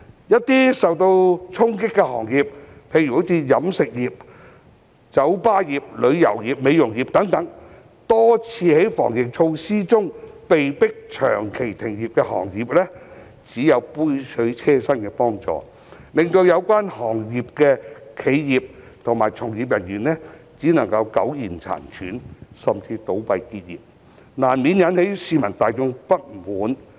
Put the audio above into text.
一些受到衝擊的行業，例如飲食業、酒吧業、旅遊業和美容業等多次在防疫中被迫長期停業的行業，只有杯水車薪的幫助，令有關行業的企業及從業員只能苟延殘喘，甚至倒閉結業，這難免引起市民大眾不滿。